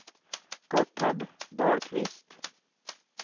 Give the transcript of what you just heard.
Gotthard Dahlqvist